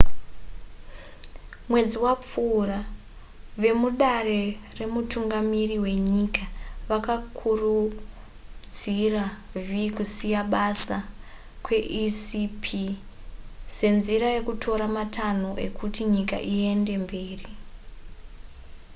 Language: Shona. mwedzi wapfuura vemudare remutungamiri wenyika vakakurudzira v kusiya basa kweecp senzira yekutora matanho ekuti nyika iende mberi